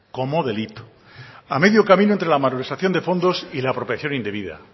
como delito a medio camino entre la malversación de fondos y la apropiación indebida